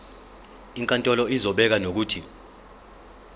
inkantolo izobeka nokuthi